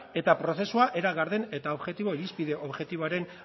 eta prozesua era garden eta irizpide objektiboaren